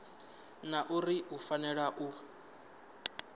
na uri u fanela u